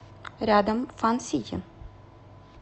рядом фан сити